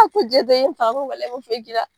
A ko i ye n faga n n ma foyi k'i la.